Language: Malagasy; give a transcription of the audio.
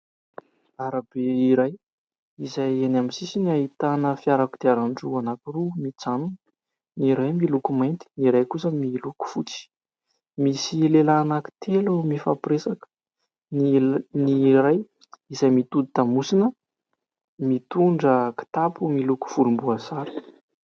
Arabe iray izay eny amin'ny sisiny ahitana fiara kodiaran-droa anankiroa mijanona ny iray miloko mainty ny iray kosa miloko fotsy. Misy lehilahy anankitelo mifampiresaka, ny iray izay mitodi-damosina mitondra kitapo miloko volom-boasary.